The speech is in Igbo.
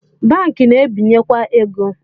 Banki na-ebenyekwa ego